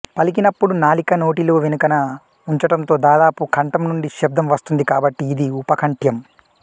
పలికినప్పుడు నాలిక నోటీలో వెనుకన ఉంచటంతో దాదాపు కంఠం నుండి శబ్దం వస్తుంది కాబట్టి ఇది ఉప కంఠ్యం